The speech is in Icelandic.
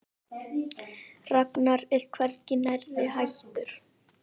Ragnar er hvergi nærri hættur.